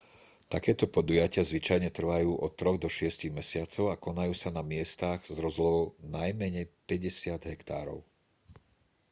takéto podujatia zvyčajne trvajú od troch do šiestich mesiacov a konajú sa na miestach s rozlohou najmenej 50 hektárov